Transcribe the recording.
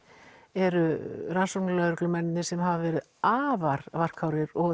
eru rannsóknarlögreglumennirnir sem hafa verið afar varkárir og